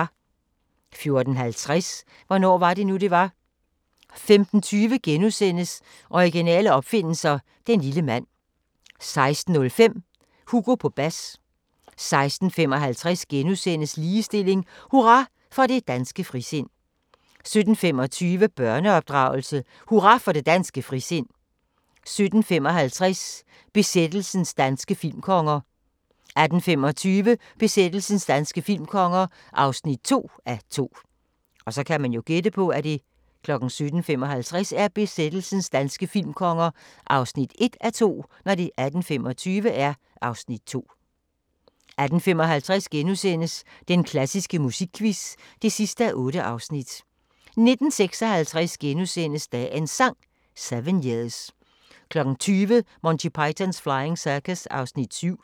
14:50: Hvornår var det nu, det var? 15:20: Originale opfindelser – den lille mand * 16:05: Hugo på bas 16:55: Ligestilling: Hurra for det danske frisind * 17:25: Børneopdragelse: Hurra for det danske frisind 17:55: Besættelsens danske filmkonger 18:25: Besættelsens danske filmkonger (2:2) 18:55: Den klassiske musikquiz (8:8)* 19:56: Dagens Sang: 7 years * 20:00: Monty Python's Flying Circus (7:45)